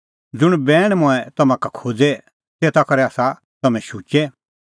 ज़ुंण बैण मंऐं तम्हां का खोज़ै तेता करै आसा तम्हैं शुचै